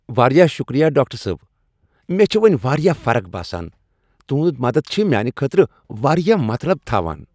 واریاہ شکریہ، ڈاکٹر صٲب! مےٚ چھےٚ وۄنۍ واریاہ فرق باسان۔ تہند مدد چھ میانہ خٲطرٕ واریاہ مطلب تھاوان۔